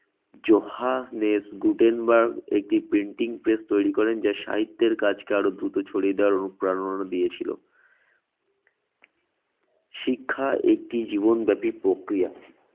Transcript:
জোহানের Gutenberg একটি printing press তৈরি করেন যার সাহিত্যের কাজকে আরো দ্রুত ছড়িয়ে দেওয়ার অনুপ্রেরণা দিয়েছিল। শিক্ষা একটি জীবনব্যাপী প্রক্রিয়া।